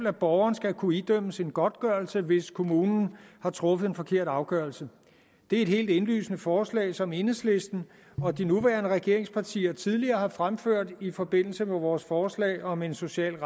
at borgeren skal kunne idømmes en godtgørelse hvis kommunen har truffet en forkert afgørelse det er et helt indlysende forslag som enhedslisten og de nuværende regeringspartier tidligere har fremført i forbindelse med vores forslag om en social